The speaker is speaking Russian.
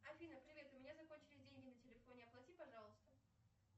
афина привет у меня закончились деньги на телефоне оплати пожалуйста